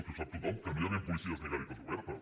però si ho sap tothom que no hi havien policies ni garites obertes